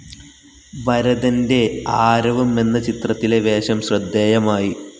ഭരതന്റെ ആരവം എന്ന ചിത്രത്തിലെ വേഷം ശ്രദ്ധേയമായി.